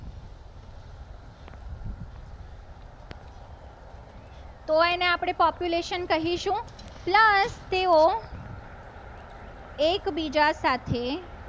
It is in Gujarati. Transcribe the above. Population કરીશું. plus તેઓ એકબીજા સાથે